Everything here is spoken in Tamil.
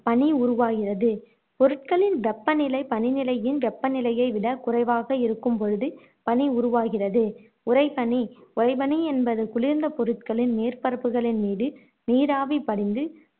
பனி உருவாகிறது பொருட்களின் வெப்ப நிலை பனிநிலையின் வெப்பநிலையை விடக் குறைவாக இருக்கும் பொழுது பனி உருவாகிறது உறைபனி உறைபனி என்பது குளிர்ந்த பொருட்களின் மேற்பரப்புகளின் மீது நீராவி படிந்து